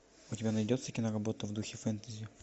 у тебя найдется киноработа в духе фэнтези